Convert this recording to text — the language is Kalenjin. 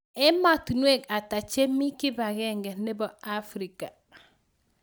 Ematinwek ata chemi kipagenge nebo africa